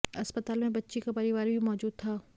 अस्पताल में बच्ची का परिवार भी मौजूद था